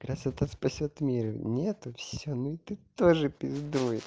красота спасёт мир нету все ну и ты тоже пиздуй